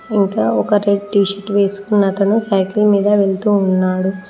ఇంకా ఒక red T shirt వేసుకున్న అతను సైకిల్ మీద వెళ్తూ ఉన్నాడు